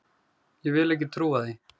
Ég vil ekki trúa því.